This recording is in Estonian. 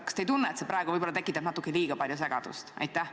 Kas te ei tunne, et see praegu tekitab natuke liiga palju segadust?